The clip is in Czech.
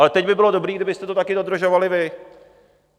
Ale teď by bylo dobré, kdybyste to taky dodržovali vy.